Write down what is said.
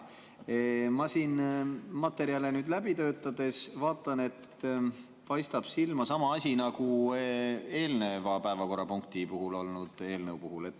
Ma siin materjale läbi töötades vaatasin, et paistab silma sama asi nagu eelnevas päevakorrapunktis arutelul olnud eelnõu puhul.